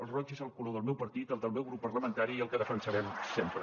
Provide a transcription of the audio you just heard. el roig és el color del meu partit el del meu grup parlamentari i el que defensarem sempre